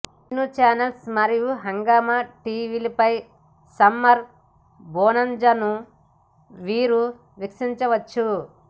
Disney channel మరియు Hungama TV లపై summer బొనాంజాను వీరు వీక్షించవచ్చు